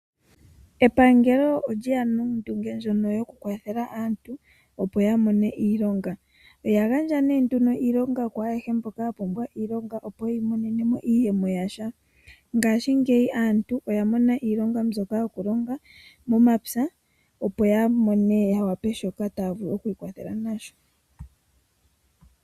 Epangelo olye ya nondunge ndjono yokukwathela aantu opo ya mone iilonga. Oya gandja nee nduno iilonga ku ayehe mboka ya pumbwa iilonga opo ya imonene mo iiyemo yasha. Ngashingeyi aantu oya mona iilonga mbyoka yokulonga momapya opo ya mone ya wape shoka taya vulu oku ikwathela nasho.